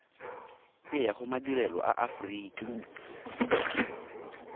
e ya gomadirelo a aforika